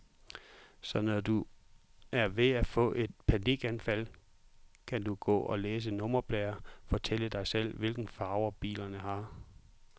Så når du er ved at få et panikanfald, kan du gå og læse nummerplader, fortælle dig selv, hvilke farver bilerne har.